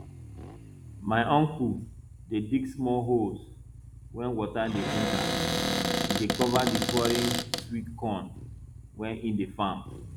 my uncle dey dig small holes wey water dey enter he dey cover the foreign sweet corn wey he dey farm